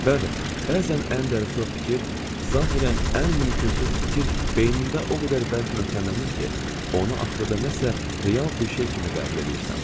Bəli, bəzən ən dəli-soz fikir, zahirən ən mümkünsüz fikir beynində o qədər bərk möhkəmlənir ki, onu axırda nəsə real bir şey kimi qəbul eləyirsən.